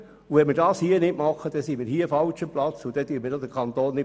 Tun wir das nicht, sind wir hier am falschen Ort und vertreten auch den Kanton nicht.